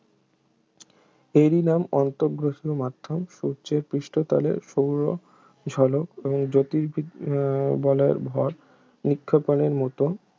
এরই নাম আন্তঃগ্রহীয় মাধ্যম সূর্যের পৃষ্ঠতলে সৌরঝলক এবং জ্যোতির্বি বলয়ের ভর নিক্ষেপণের মত